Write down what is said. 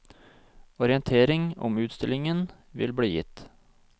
Orientering om utstillingen vil bli gitt.